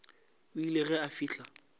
o ile ge a fihla